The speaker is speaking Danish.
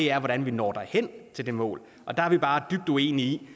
er hvordan vi når hen til det mål der er vi bare dybt uenige i